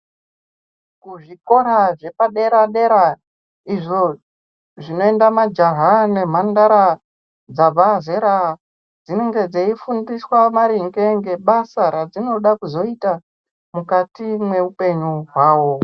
Kuzvikora zvepadera dera izvo zvinoenda majaha nemhandara dzabva zera dzinenge dzeifundiswa maringe ngebasa radzinoda kuzoita mukati mweupenyu hwawo .